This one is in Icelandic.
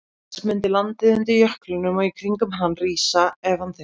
Auk þess mundi landið undir jöklinum og í kringum hann rísa ef hann hyrfi.